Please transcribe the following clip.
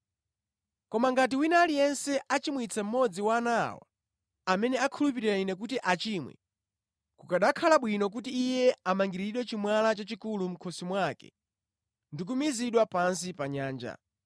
“Koma ngati wina aliyense achimwitsa mmodzi wa ana awa, amene akhulupirira Ine, kuti achimwe, kukanakhala bwino kuti iye amangiriridwe chimwala chachikulu mʼkhosi mwake ndi kumizidwa pansi pa nyanja.